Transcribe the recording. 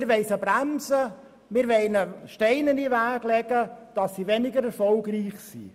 wir wollen die Unternehmungen bremsen, ihnen Steine in den Weg legen, damit sie weniger erfolgreich sind.